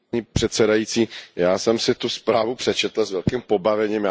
Paní předsedající, já jsem si tu zprávu přečetl s velkým pobavením.